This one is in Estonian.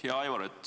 Hea Aivar!